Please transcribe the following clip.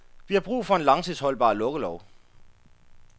Vi har brug for en langtidsholdbar lukkelov.